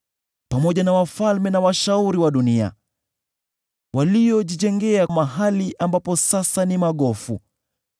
pamoja na wafalme na washauri wa dunia, waliojijengea mahali ambapo sasa ni magofu,